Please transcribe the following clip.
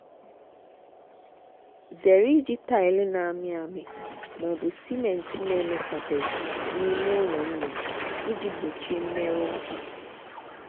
zere iji taịlị na-amị amị ma ọ bụ simenti na-emechabeghị n'ime ụlọ nnụnụ iji gbochie mmerụ ụkwụ.